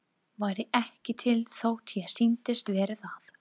Væri ekki til þótt ég sýndist vera það.